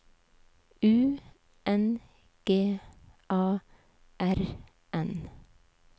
U N G A R N